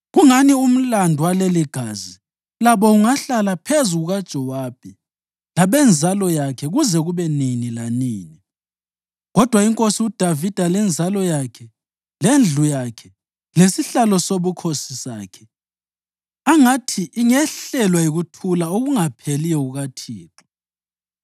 Kungani umlandu waleligazi labo ungahlala phezu kukaJowabi labenzalo yakhe kuze kube nini lanini. Kodwa inkosi uDavida lenzalo yakhe, lendlu yakhe lesihlalo sobukhosi sakhe, angathi ingehlelwa yikuthula okungapheliyo kukaThixo.”